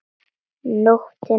Nóttina áður!